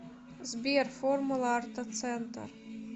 сбер формула ортоцентр